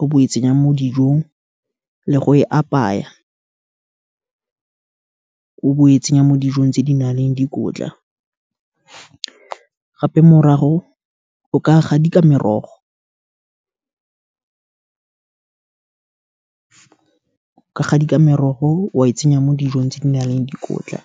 o bo e tsenyang mo dijong, le go e apaya, o bo o e tsenya mo dijong tse di na leng dikotla, gape morago o ka gadika merogo, o ka gadika merogo o e tsenya mo dijong tse di nang le dikotla.